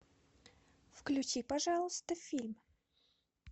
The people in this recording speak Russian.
включи пожалуйста фильм